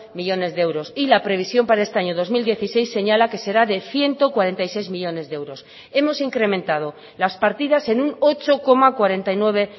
millónes de euros y la previsión para este año dos mil dieciséis señala que será de ciento cuarenta y seis millónes de euros hemos incrementado las partidas en un ocho coma cuarenta y nueve